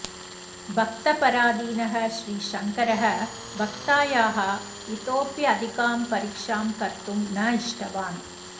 भक्तपराधीनः श्रीशङ्करः भक्तायाः इतोऽप्यधिकां परीक्षां कर्तुं न इष्टवान्